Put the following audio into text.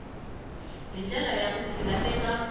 hi ndlela ya vutshila eka